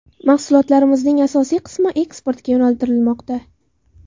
Mahsulotlarimizning asosiy qismi eksportga yo‘naltirilmoqda.